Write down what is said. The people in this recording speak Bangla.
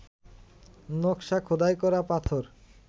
নকশা খোদাই করা পাথর